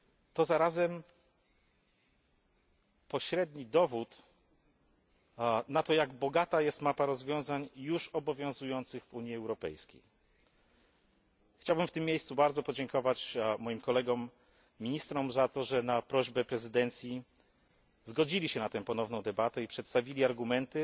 To zarazem pośredni dowód na to, jak bogata jest mapa rozwiązań już obowiązujących w Unii Europejskiej. Chciałbym w tym miejscu bardzo podziękować moim kolegom ministrom za to, że na prośbę prezydencji zgodzili się na tę ponowną debatę i przedstawili argumenty